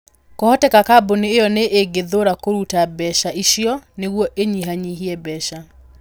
Kwahoteka kambuni ĩyo nĩ ĩngĩthuura kũruta mbeca icio nĩguo ĩnyihanyihie mbeca.